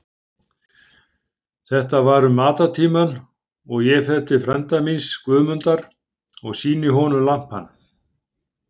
Þetta var um matartímann og ég fer til frænda míns, Guðmundar, og sýni honum lampann.